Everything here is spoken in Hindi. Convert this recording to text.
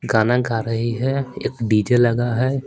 गाना गा रही है एक डी_जे लगा है।